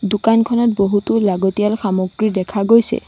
দোকানখনত বহুতো লগতিয়াল সামগ্ৰী দেখা গৈছে।